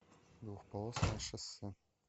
двухполосное шоссе